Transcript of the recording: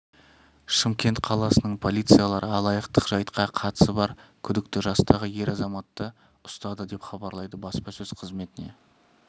шымкент қаласының полициялары алаяқтық жайтқа қатысы бар күдікті жастағы ер азаматты ұстады деп хабарлайды баспасөз қызметіне